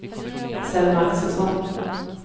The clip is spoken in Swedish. Selma Axelsson